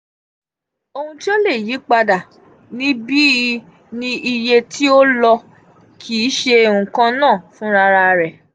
ohun ti o le yipada nibi ni iye ti o lo kii ṣe nkan naa funrararẹ.